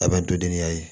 A bɛ to denniya ye